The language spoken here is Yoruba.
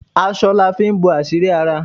Aṣọ la fi ń bo àṣírí ara